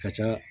Ka ca